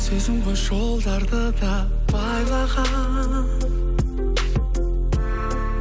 сезім ғой жолдарды да байлаған